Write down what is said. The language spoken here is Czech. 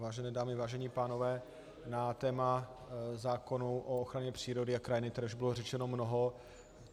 Vážené dámy, vážení pánové, na téma zákonů o ochraně přírody a krajiny tady už bylo řečeno mnoho.